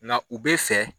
Nka u bɛ fɛ